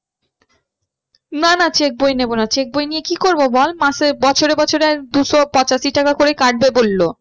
না না check বই নেবো না check বই নিয়ে কি করবো বল মাসে, বছরে বছরে দুশো পঁচাশি টাকা করে কাটবে বললো।